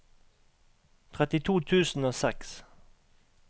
trettito tusen og seks